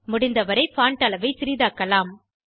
முடிந்தவரை பான்ட் அளவை சிறிதாக்கலாம்